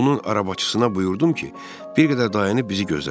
Onun arabacısına buyurdum ki, bir qədər dayanıb bizi gözləsin.